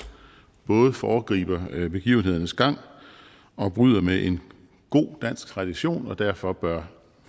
både foregriber begivenhedernes gang og bryder med en god dansk tradition og derfor bør